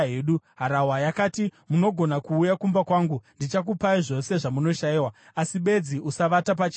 Harahwa yakati, “Munogona kuuya kumba kwangu. Ndichakupai zvose zvamunoshayiwa. Asi bedzi usavata pachivara.”